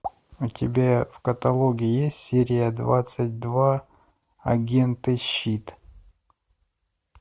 у тебя в каталоге есть серия двадцать два агенты щит